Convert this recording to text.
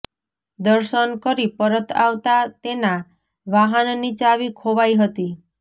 દર્શન કરી પરત આવતા તેના વાહનની ચાવી ખોવાઈ હતી